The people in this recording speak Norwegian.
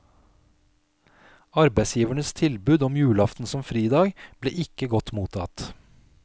Arbeidsgivernes tilbud om julaften som fridag, ble ikke godt mottatt.